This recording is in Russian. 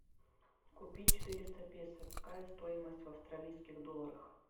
купить четыреста песо какая стоимость в австралийских долларах